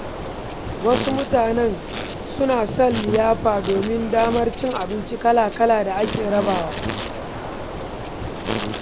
Yawancin mutane suna son liyafa domin damar cin abinci kala-kala da ake rabawa.